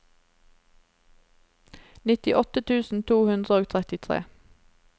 nittiåtte tusen to hundre og trettitre